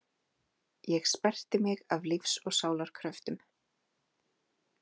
Ég sperrti mig af lífs og sálar kröftum.